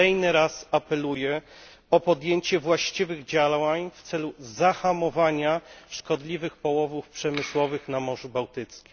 Kolejny raz apeluję o podjęcie właściwych działań w celu zahamowania szkodliwych połowów przemysłowych na Morzu Bałtyckim.